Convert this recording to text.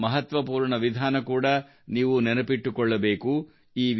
ಇದರ ಮಹತ್ವಪೂರ್ಣ ವಿಧಾನ ಕೂಡಾ ನೀವು ನೆನಪಿಟ್ಟುಕೊಳ್ಳಬೇಕು